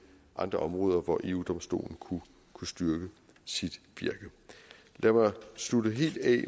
andre områder hvor eu domstolen kunne styrke sit virke lad mig slutte helt af